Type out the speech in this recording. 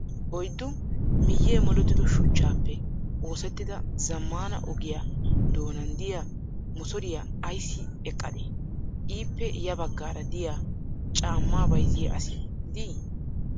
Oyiddu miiyye molettido shuchchappe oosettida zammaana ogiyaa doonan diya motoriyaa ayissi eqqadee? Ippe ya baggaara diya caammaa bayizziyaa asi dii?